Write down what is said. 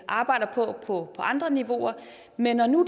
arbejder på på andre niveauer men når nu